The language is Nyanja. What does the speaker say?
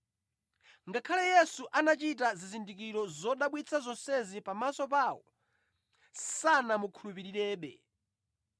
Ngakhale Yesu anachita zizindikiro zodabwitsa zonsezi pamaso pawo, sanamukhulupirirebe.